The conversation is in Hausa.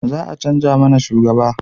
Za a canja mana shugaba